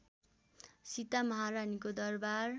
सीता महारानीको दरबार